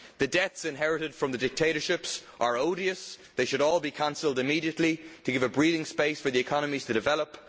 The debts inherited from the dictatorships are odious they should all be cancelled immediately to give a breathing space so that economies can develop.